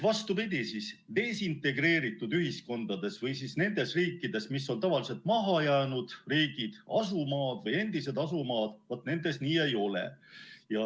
Vastupidi, desintegreeritud ühiskondades või nendes riikides, mis on tavaliselt mahajäänud riigid, asumaad või endised asumaad, nii ei ole.